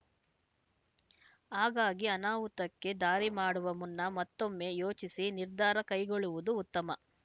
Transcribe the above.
ಹಾಗಾಗಿ ಅನಾಹುತಕ್ಕೆ ದಾರಿ ಮಾಡುವ ಮುನ್ನ ಮತ್ತೊಮ್ಮೆ ಯೋಚಿಸಿ ನಿರ್ಧಾರ ಕೈಗೊಳ್ಳುವುದು ಉತ್ತಮ